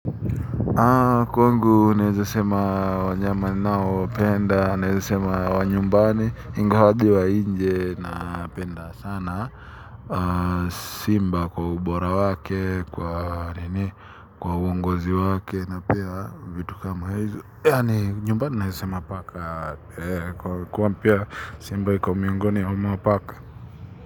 Kwangu naeza sema wanyama ninaowapenda, naeza sema wa nyumbani, ingawa hadi wa nje nawapenda sana. Simba kwa ubora wake, kwa nini, kwa uongozi wake na pia vitu kama hizo. Yaani nyumbani naeza sema paka kwani pia simba iko miongoni mwa paka.